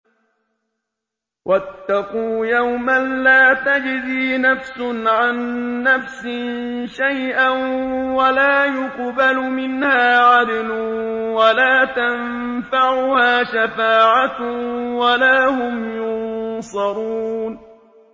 وَاتَّقُوا يَوْمًا لَّا تَجْزِي نَفْسٌ عَن نَّفْسٍ شَيْئًا وَلَا يُقْبَلُ مِنْهَا عَدْلٌ وَلَا تَنفَعُهَا شَفَاعَةٌ وَلَا هُمْ يُنصَرُونَ